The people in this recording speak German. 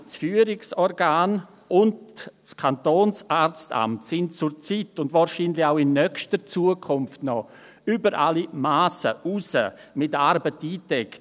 Beide, das KFO und das Kantonsarztamt, sind wegen des Coronavirus zurzeit, und wahrscheinlich auch in der nächsten Zukunft, noch über alle Massen hinaus mit Arbeit eingedeckt.